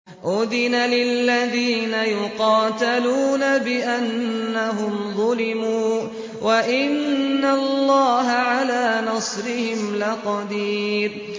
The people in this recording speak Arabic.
أُذِنَ لِلَّذِينَ يُقَاتَلُونَ بِأَنَّهُمْ ظُلِمُوا ۚ وَإِنَّ اللَّهَ عَلَىٰ نَصْرِهِمْ لَقَدِيرٌ